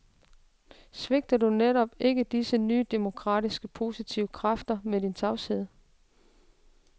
Svigter du netop ikke disse nye demokratiske positive kræfter med din tavshed?